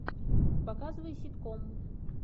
показывай ситком